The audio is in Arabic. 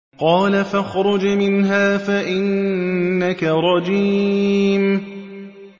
قَالَ فَاخْرُجْ مِنْهَا فَإِنَّكَ رَجِيمٌ